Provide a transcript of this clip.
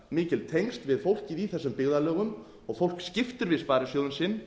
mikil tengsl við fólkið í þessum byggðarlögum og fólk skiptir við sparisjóðinn sinn